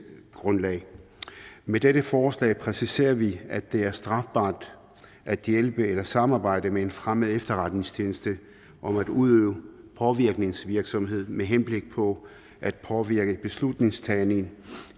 grundlag med dette forslag præciserer vi at det er strafbart at hjælpe eller samarbejde med en fremmed efterretningstjeneste om at udøve påvirkningsvirksomhed med henblik på at påvirke beslutningstagning